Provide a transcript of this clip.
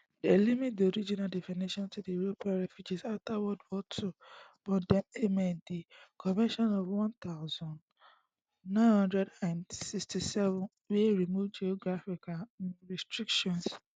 dem limit di original definition to european refugees afta world war ii but dem amen di convention for one thousand, nine hundred and sixty-seven wey remove geographical um restrictions